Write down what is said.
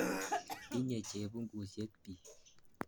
Tinye chepungusyek piik .